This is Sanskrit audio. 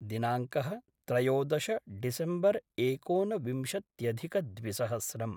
दिनाङ्कः त्रयोदश डिसेम्बर् एकोनविंशत्यधिकद्विसहस्रम्